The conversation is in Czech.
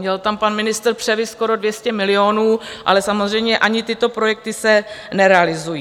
Měl tam pan ministr převis skoro 200 milionů, ale samozřejmě ani tyto projekty se nerealizují.